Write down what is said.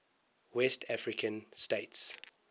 west african states